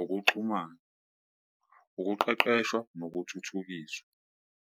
ukuxhumana, ukuqeqeshwa nokuthuthukiswa.